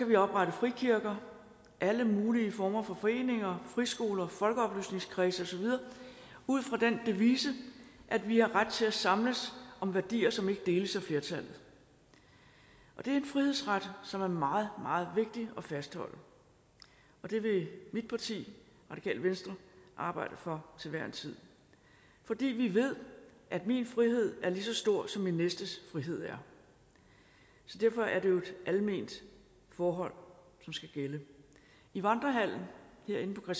vi oprette frikirker alle mulige former for foreninger friskoler folkeoplysningskredse og så videre ud fra den devise at vi har ret til at samles om værdier som ikke deles af flertallet det er en frihedsret som er meget meget vigtig at fastholde og det vil mit parti det radikale venstre arbejde for til hver en tid fordi vi ved at min frihed er lige så stor som min næstes frihed er så derfor er det jo et alment forhold som skal gælde i vandrehallen herinde på